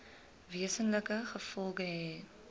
wesenlike gevolge hê